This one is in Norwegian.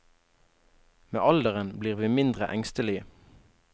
Med alderen blir vi mindre engstelige.